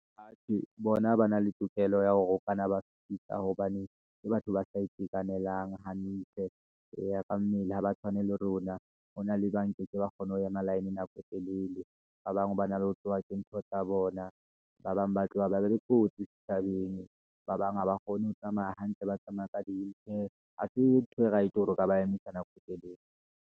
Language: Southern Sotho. Atjhe bona ba na le tokelo ya hore o kanna wa ba fetisa, hobane ke batho ba sa itekanelang hantle. Eya ka mmele ha ba tshwane le rona, ho na le ba nkekeng ba kgone ho ema line nako e telele, ba bang ba na le ho tloha ke ntho tsa bona, Ba bang ba tloha ba be le kotsi setjhabeng, ba bang haba kgone ho tsamaya hantle, ba tsamaya ka di-wheelchair. Ha se ntho e right, hore o ka ba emise nako telele.